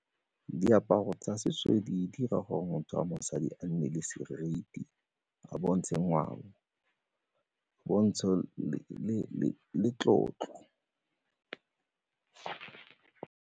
Diaparo tsa setso di dira gore motho wa mosadi a nne le seriti, a bontshe ngwao, pontsho le tlotlo.